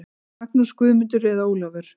Magnús, Guðmundur eða Ólafur.